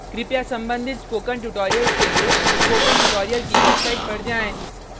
कृपया संबंधित spoken tutorials के लिए स्पोकन ट्यूटोरियल की वेबसाइट पर जाएँ